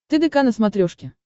тдк на смотрешке